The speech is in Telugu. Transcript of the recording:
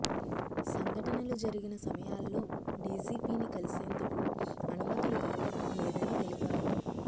సంఘటనలు జరిగిన సమయాల్లో డిజిపిని కలిసేందుకు అనుమతులు దొరకడం లేదని తెలిపారు